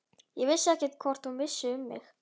Ég vissi ekkert hvort hún vissi um mig.